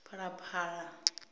phalaphala